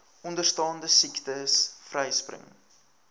onderstaande siektes vryspring